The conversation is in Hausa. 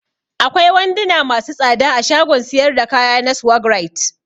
Akwai wanduna masu tsada a shagon siyar da kaya na Swagg right.